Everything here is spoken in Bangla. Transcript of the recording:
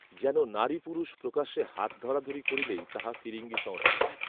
যেন নারীপুরুষ প্রকাশ্যে হাতধরাধরি করিলেই তাহা ফিরিঙ্গি সংস্কৃতি